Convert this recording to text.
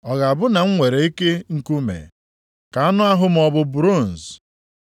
Ọ ga-abụ na m nwere ike nkume? Ka anụ ahụ m ọ bụ bronz?